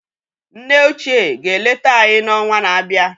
Nne óchiè ga-eleta anyị n’ọnwa na-abịa